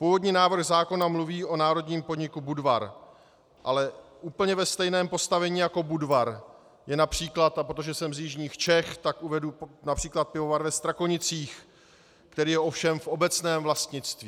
Původní návrh zákona mluví o národním podniku Budvar, ale v úplně stejném postavení jako Budvar je například, a protože jsem z jižních Čech, tak uvedu například pivovar ve Strakonicích, který je ovšem v obecném vlastnictví.